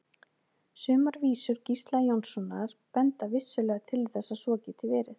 Sumar vísur Gísla Jónssonar benda vissulega til þess að svo geti verið.